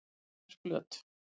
Eyrarflöt